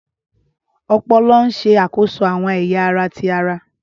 Ọpọlọ ṣe akoso awọn ẹya ara ti ara